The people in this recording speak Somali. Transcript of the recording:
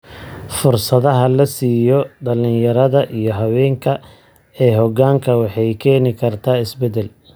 Fursadaha la siiyo dhalinyarada iyo haweenka ee hoggaanka waxay keeni kartaa isbeddel.